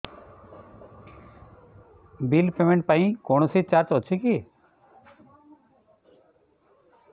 bill payment ପାଇଁ କୌଣସି charge ଅଛି କି